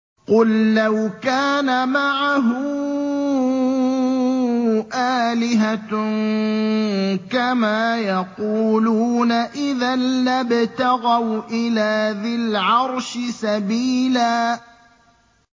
قُل لَّوْ كَانَ مَعَهُ آلِهَةٌ كَمَا يَقُولُونَ إِذًا لَّابْتَغَوْا إِلَىٰ ذِي الْعَرْشِ سَبِيلًا